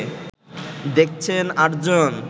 দেখছেন ৮ জন